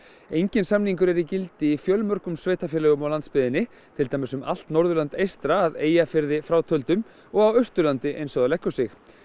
enginn samningur er í gildi í mörgum sveitarfélögum á landsbyggðinni til dæmis um allt Norðurland eystra að Eyjafirði frátöldum og á Austurlandi eins og það leggur sig